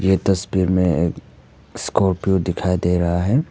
ये तस्वीर में एक स्कॉर्पियो दिखाई दे रहा है।